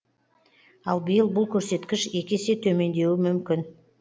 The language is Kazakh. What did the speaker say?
ал биыл бұл көрсеткіш екі есе төмендеуі мүмкін